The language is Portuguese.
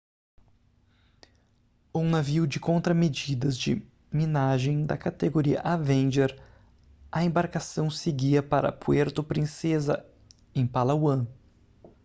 um navio de contramedidas de minagem da categoria avenger a embarcação seguia para puerto princesa em palawan